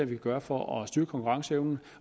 kan gøre for at styrke konkurrenceevnen